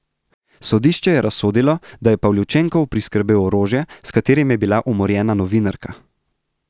Sodišče je razsodilo, da je Pavljučenkov priskrbel orožje, s katerim je bila umorjena novinarka.